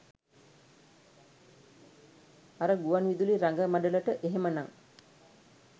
අර ගුවන් විදුලි රඟ මඩලට එහෙමනං